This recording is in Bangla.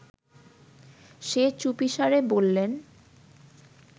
সে চুপিসারে বললেন